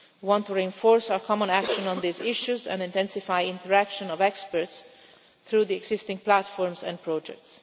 We want to reinforce our common action on these issues and intensify interaction between experts through existing platforms and projects.